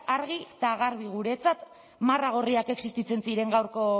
argi eta garbi guretzat marra gorriak existitzen ziren